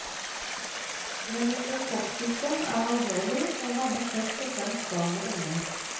Meningokokksykdom er alvorlig, og rammer først og fremst barn og unge.